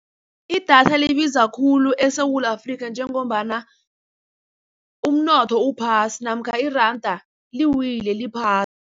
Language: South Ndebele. Idatha libiza khulu eSewula Afrika njengombana umnotho uphasi namkha iranda liwile, liphasi.